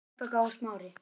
Rebekka og Smári.